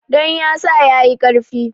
Don ya sa ya yi ƙarfi.